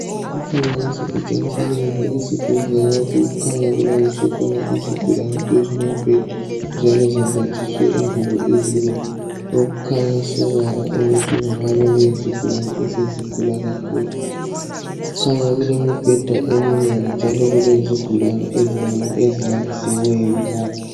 Umfanekiso utshengisa indlu esibhedlela lapho okukhanya kulaliswe khona izigulane phezulu kombheda njalo zimbathiswe ingubo ezibomvu okukhanya sobala ukuthi kungabe kuyizigulane esezigula kakhulu. Kukhanya kulemibheda eminengi njalo kulezigulane ezinengi ezilalisiweyo lapho.